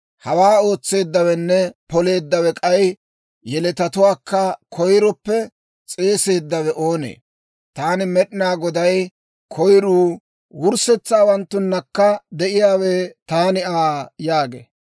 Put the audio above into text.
Hawaa ootseeddawenne poleeddawe k'ay yeletatuwaakka koyiroppe s'eeseeddawe oonee? Taani Med'inaa Goday, koyiruu, wurssetsaawanttunakka de'iyaawe, taani Aa» yaagee.